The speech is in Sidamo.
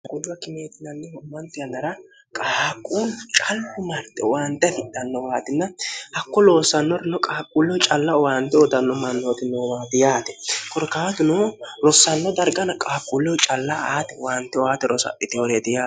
hgujwa kimeetinanni ho'manti anara qaaquulu callu marte uwaante fidhanno waatina hakku loossannorino qaaqquulleu calla owaante odanno mannootinoowaati yaate korkaagino rossanno dargana qaaquulleu calla aati waante oaati rosadhi teworeeti yae